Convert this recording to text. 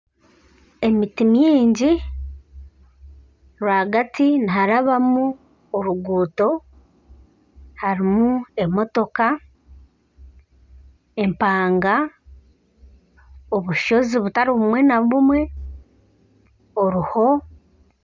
Emiti mingi rwagati niharabamu oruguuto harimu emotoka, empanga, obushozi butari bumwe na bumwe oruho.